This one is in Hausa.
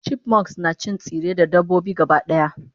chipmunks nacin tsirrai da dabbobi gabadaya